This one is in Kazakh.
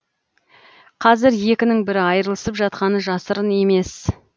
қазір екінің бірі айырылысып жатқаны жасырын емес